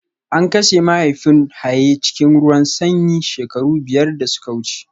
An kashe mahaifin Haye cikin ruwan sanyi shekaru biyar da suka wuce